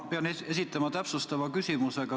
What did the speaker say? Ma pean esitama täpsustava küsimuse.